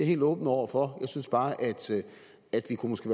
helt åben over for jeg synes bare at vi måske